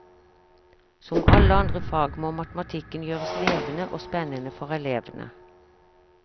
Som alle andre fag må matematikken gjøres levende og spennende for elevene.